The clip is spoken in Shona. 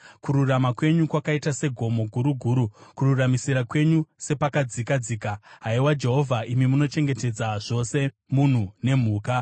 Kururama kwenyu kwakaita segomo guru guru, kururamisira kwenyu sepakadzika dzika. Haiwa Jehovha, imi munochengetedza zvose munhu nemhuka.